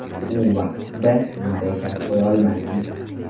U vaqtda bunday shart qo‘ya olmasdik.